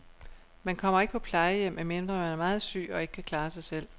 Man kommer ikke på plejehjem, medmindre man er meget syg og ikke kan klare sig selv.